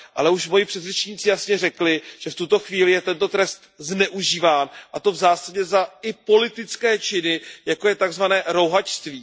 ale již moji předřečníci jasně řekli, že v tuto chvíli je tento trest zneužíván, a to v zásadě za i politické činy, jako je tzv. rouhačství.